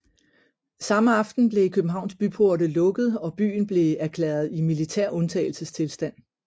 Samme aften blev Københavns byporte lukket og byen blev erklæret i militær undtagelsestilstand